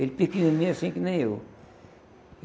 Ele pequenininho assim que nem eu.